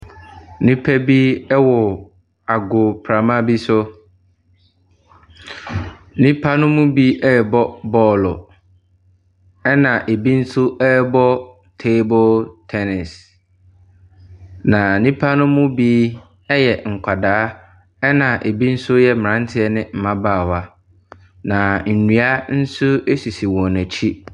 Nnipa bi wɔ agoprama bi so. Nnipa no mu bi rebɔ bɔɔlo. Na ebi nso rebɔ table tɛnis. Na nnipa no mu bi yɛ nkwaraa na ebi nso yɛ mmaranteɛ ne mbabaawa. Na nnua nso sisi wɔn akyi.